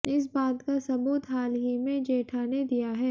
इस बात का सबूत हाल ही में जेठा ने दिया है